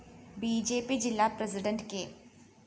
B J P ജില്ലാ president K